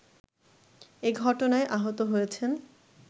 এ ঘটনায় আহত হয়েছেন